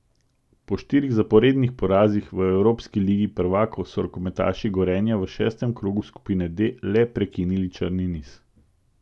Po štirih zaporednih porazih v evropski ligi prvakov so rokometaši Gorenja v šestem krogu skupine D le prekinili črni niz.